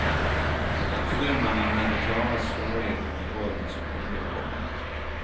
Styrmannen hade klara svårigheter med rollen som underordnad.